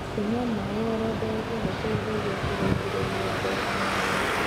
kũnyua maĩ oro ndagika gũteithagia kurungirirĩa ngothi